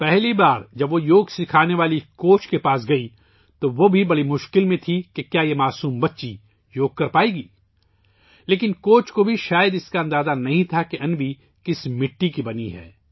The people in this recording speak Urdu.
پہلی مرتبہ، جب وہ یوگ سکھانے والی کوچ کے پاس گئی ، تو وہ بھی بہت ششپنج میں تھے کہ کیا یہ معصوم بچی یوگ کر سکے گی! لیکن کوچ کو بھی شاید اندازہ نہیں تھا کہ انوی کس مٹی سے بنی ہے